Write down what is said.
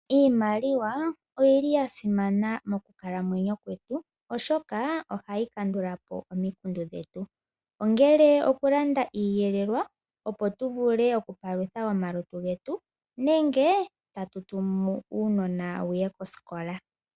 Iimaliwa oyili yasimana moku kalamwenyo kwetu oshoka ohayi kandulapo omikundu dhetu . Ongele okulanda iiyelelwa opo. tuvule oku palutha omalutu getu nenge tatu tumu uunona wuye kosikola.